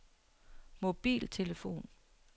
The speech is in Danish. mobiltelefon